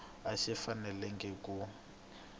a xi fanelangi ku